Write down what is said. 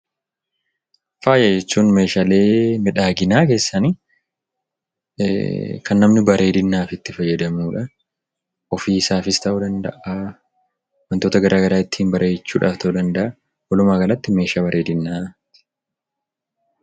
Fayaa jechuun; meeshaalee midhaaginaa keessani, Kan namni baredinaf itti faayadamudhaan ofiisaafis ta'u danda'aa, wantoota garagaraa ittin bareechuudhàf ta'u danda'aa, walummagalaatti meeshaa bareedinaatti.